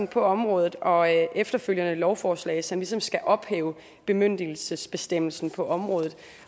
på området og efterfølgende et lovforslag som ligesom skal ophæve bemyndigelsesbestemmelsen på området